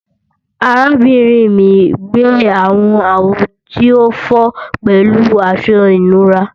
Arabinrin mi gbẹ awọn awo ti o fọ pẹlu aṣọ ìnura